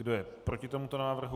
Kdo je proti tomuto návrhu?